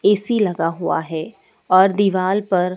AC लगा हुआ है और दीवाल पर--